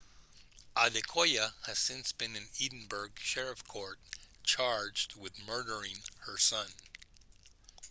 adekoya has since been in edinburgh sheriff court charged with murdering her son